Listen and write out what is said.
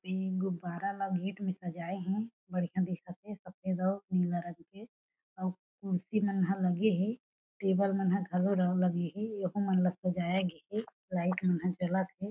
ए गुब्बारा ल गेट में सजाए हे बढ़िया दिखत हे सफेद अउ नीला रंग के अउ खुर्सी मन हा लगे हे टेबल मन हा घलो लगे हे यहु मन ला सजाया गे हे लाइट मन हा जलत हे।